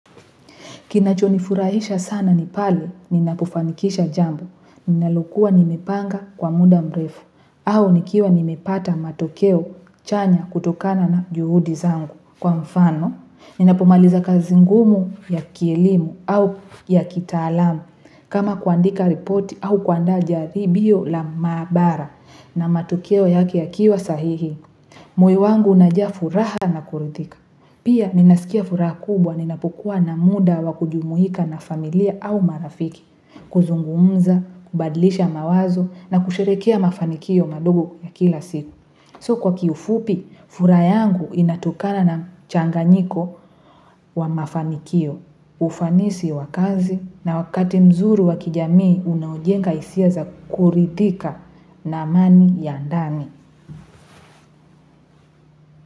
Kinacho ni furahisha sana nipali, ninapufanikisha jambo, ninalukua nimi panga kwa muda mrefu. Aho nikiwa nimi pata matokeo chanya kutokana na juhudi zangu kwa mfano. Ninapumaliza kazi ngumu ya kilimu au ya kitalamu. Kama kuandika repoti au kaanda jaribio la mabara na matokeo ya kia kia sahihi. Moiwangu na jia furaha na kuridika. Pia ninaskia furaha kubwa ninapukua na muda wa kujumuika na familia au marafiki. Kuzungumuza, kubadilisha mawazo na kusherekia mafanikio madogo ya kila siku. So kwa kiyufupi, furaya yangu inatokana na changanyiko wa mafanikio. Ufanisi wakazi na wakati mzuru wa kijamii unaujenga hisia za kuridika na amani ya ndani.